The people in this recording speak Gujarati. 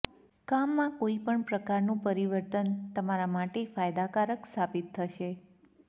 કામમાં કોઈપણ પ્રકારનું પરિવર્તન તમારા માટે ફાયદાકારક સાબિત થશે